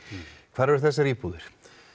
hvar eru þessar íbúðir